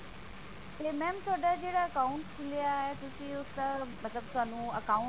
ਤੇ mam ਤੁਹਾਡਾ ਜਿਹੜਾ account ਖੁੱਲਿਆ ਤੁਸੀ ਉਸਦਾ ਮਤਲਬ ਸਾਨੂੰ account